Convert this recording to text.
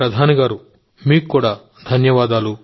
మోదీ గారూ మీకు కూడా ధన్యవాదాలు